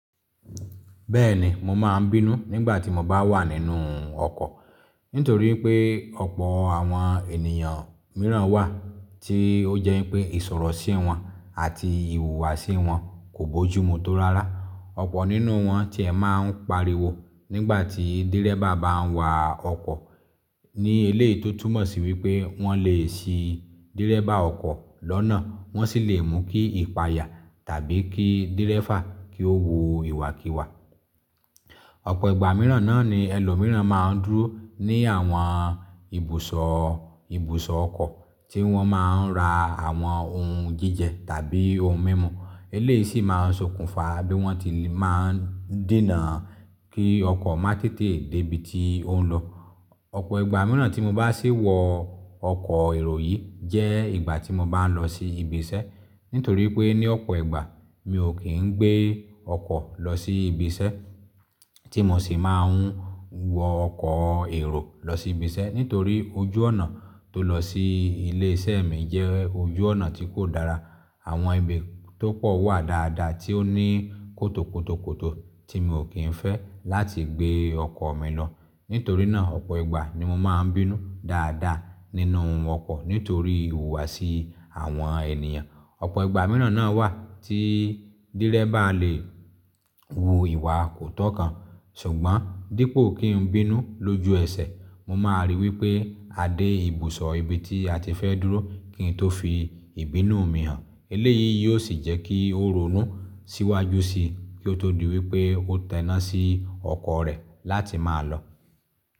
Bẹ́ẹ̀ni mo máa ń bínú nígbà tí mo bá wà nínú ọkọ̀. Nítorí pé ọ̀pọ̀ àwọn ènìyàn mìíràn wà tí ó jẹ́ pé ìsọ̀rọ̀ sí wọn àti ìhùwàsí wọn kò bójúmu tó rárá. Ọ̀pọ̀ nínú wọn tí ẹ máa ń pariwo nígbà tí dẹ́rẹ́bà bá ń wa ọkọ̀ ní eléyìí tó túmọ̀ sí wípé wọn le ṣí dẹ́rẹ́bà ọkọ̀ lọ́nà wọ́n sì le mú kí ìpaya tàbí kí dẹ́rẹ́bà kí ó wa ìwàkiwà. Ọ̀pọ̀ ìgbà mìíràn náà ni ẹlòmíràn máa ń dúró ní àwọn ibùsọ̀ ibùsọ̀ ọkọ̀ tí wọ́n máa ń ra àwọn ohun jíjẹ tàbí ohun mímu. Eléyìí sì máa ń sokùnfà bí wọ́n ti máa ń dènà kí ọkọ̀ má tètè dé ibi tí ó ń lọ. Ọ̀pọ̀ ìgbà mìíràn tí mo bá sì wọ ọkọ̀ èrò yìí jẹ́ ìgbà tí mo bá ń lọ sí ibi isẹ́. Nítorí pé ní ọ̀pọ̀ ìgbà mi ò kí ń gbé ọkọ̀ lọ sí ibi isẹ́ tí mo sì máa ń wọ ọkọ̀ èrò lọ sí ibi isẹ́. Nítorí ojú ọ̀nà tó lọ sí ilé iṣẹ́ mi jẹ́ ojú ọ̀nà tí kò dára. Àwọn ibi tó pọ̀ wà dáadáa tí ó ní kótòkótòkótò tí mi ò kí ń fẹ́ láti gbé ọkọ̀ mi lọ. Nítorí náà ọ̀pọ̀ ìgbà ni mo máa ń bínú dáadáa nínú ọkọ̀ nítorí ìhùwàsí àwọn ènìyàn. Ọ̀pọ̀ ìgbà mìíràn náà wà tí dẹ́rẹ́bà le wu ìwà kò tọ́ kan. Ṣùgbọ́n dípò kí n bínú lójú ẹsẹ̀ mo máa ríi wípé a dé ibùsọ̀ ibi tí a ti fẹ́ dúró kí n tó fi ìbínú mi hàn. Eléyìí yóò sì jẹ́ kí ó ronú síwájú síi kí ó tó di wípé ó tẹnà sí ọkọ̀ rẹ̀ láti máa lọ.